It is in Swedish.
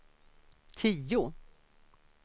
tio